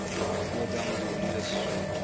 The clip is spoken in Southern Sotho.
puo tsa nguni le sesotho